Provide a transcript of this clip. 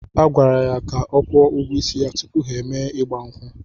A gwara ya ka ọ kwụọ ụgwọ isi ya tupu ha emee igba nkwu